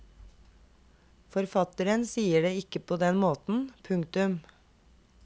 Forfatteren sier det ikke på den måten. punktum